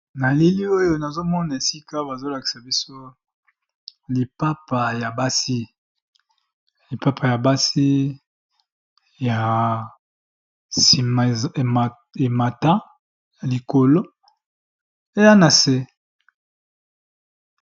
Na elili oyo nazo mona esika bazo lakisa biso lipapa ya basi. Na sima emata likolo eya na se.